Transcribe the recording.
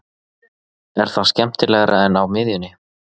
Er það skemmtilegra en á miðjunni?